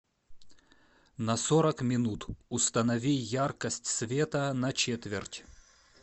на сорок минут установи яркость света на четверть